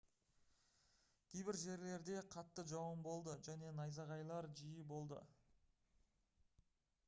кейбір жерлерде қатты жауын болды және найзағайлар жиі болды